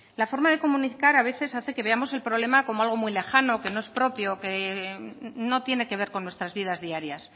la forma de comunicar a veces hace que veamos el problema como algo muy lejano que no es propio que no tiene que ver con nuestras vidas diarias